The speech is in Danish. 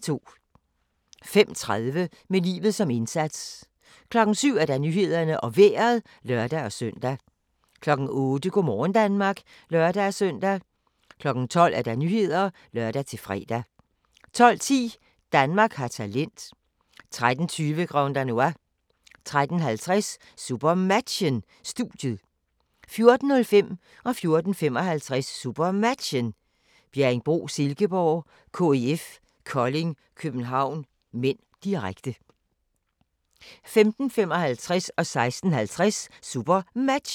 05:30: Med livet som indsats 07:00: Nyhederne og Vejret (lør-søn) 08:00: Go' morgen Danmark (lør-søn) 12:00: Nyhederne (lør-fre) 12:10: Danmark har talent 13:20: Grand Danois 13:50: SuperMatchen: Studiet 14:05: SuperMatchen: Bjerringbro-Silkeborg - KIF Kolding København (m), direkte 14:55: SuperMatchen: Bjerringbro-Silkeborg - KIF Kolding København (m), direkte 15:55: SuperMatchen: Aalborg-Skjern (m), direkte